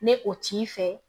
Ne o t'i fɛ